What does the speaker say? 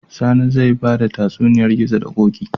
Sani zai bada tatsuniyar gizo da koki